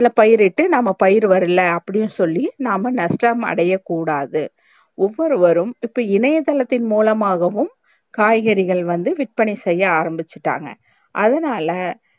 அதுல பயிர்ட்டு நாம பயிர் வர்ல அப்டியு சொல்லி நாம நஷ்டம் அடைய கூடாது ஒவ்வொருவரும் இப்ப இணையதளத்தின் மூலமாகவும் காய்கறிகள் வந்து விற்பனை செய்ய ஆரம்பிச்சிட்டாங்க அதனால